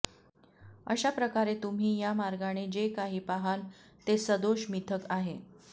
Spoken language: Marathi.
अशा प्रकारे तुम्ही या मार्गाने जे काही पाहाल ते सदोष मिथक आहे